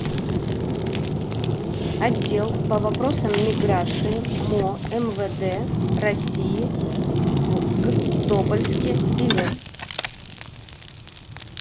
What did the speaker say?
отдел по вопросам миграции мо мвд россии в г тобольске билет